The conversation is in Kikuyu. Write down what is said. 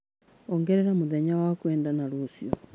ongerera mũthenya wa kwendana rũciũ